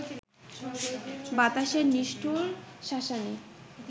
বাতাসের নিষ্ঠুর শাসানি